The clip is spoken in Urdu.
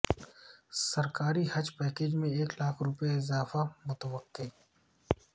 سرکاری حج پیکیج میں ایک لاکھ روپے اضافہ متوقع